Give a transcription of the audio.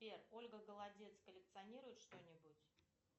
сбер ольга голодец коллекционирует что нибудь